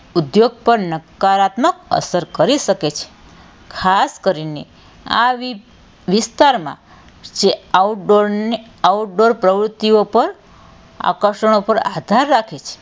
ઉદ્યોગ પર નકારાત્મક અસર કરી શકે છે ખાસ કરીને આ વિસ્તારમાં outdoor ને outdoor પ્રવૃત્તિઓ પર આકર્ષણો પર આધાર રાખે છે.